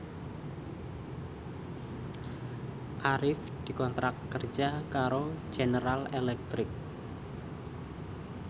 Arif dikontrak kerja karo General Electric